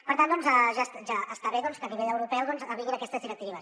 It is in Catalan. per tant doncs ja està bé que a nivell europeu vinguin aquestes directives